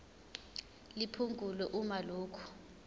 liphungulwe uma lokhu